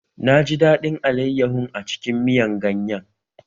Naji daɗin alaiyahun a cikin miyan ganyan